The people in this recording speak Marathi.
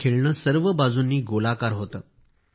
हे खेळणे सर्व बाजूंनी गोलाकार होती